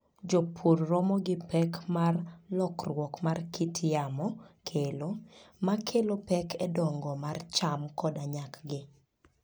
Jopur romo gi pek ma lokruok mar kit yamo kelo, ma kelo pek e dongo mar cham koda nyakgi.